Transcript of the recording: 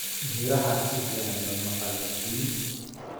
Miraha si fiican looma qallajin.